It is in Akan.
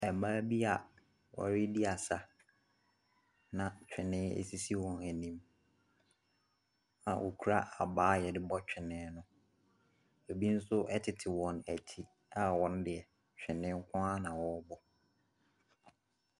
Mmaa bi a wɔredi asa, na twene sisi wɔn anim a wɔkura abaa a wɔde bɔ twene no. ebi nso tete wɔn akyi a wɔn deɛ, twene nko ara na ɔrebɔ.